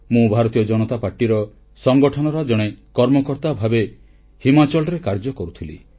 ମୁଁ ଭାରତୀୟ ଜନତା ପାର୍ଟି ସଂଗଠନର ଜଣେ କର୍ମକର୍ତ୍ତା ଭାବେ ହିମାଚଳ ପ୍ରଦେଶରେ କାର୍ଯ୍ୟ କରୁଥିଲି